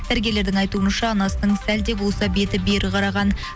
дәрігерлердің айтуынша анасының сәл де болса беті бері қараған